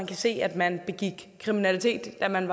kan se at man begik kriminalitet da man